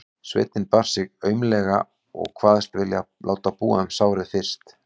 Sveinninn bar sig aumlega og kvaðst vilja láta búa um sárið fyrst.